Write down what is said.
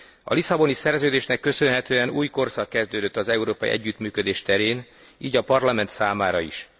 A Lisszaboni Szerződésnek köszönhetően új korszak kezdődött az európai együttműködés terén, így a Parlament számára is.